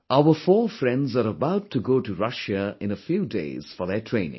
Our four friends are about to go to Russia in a few days for their training